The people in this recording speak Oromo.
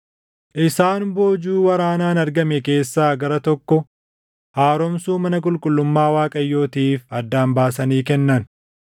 Isaan boojuu waraanaan argame keessaa gara tokko haaromsuu mana qulqullummaa Waaqayyootiif addaan baasanii kennan.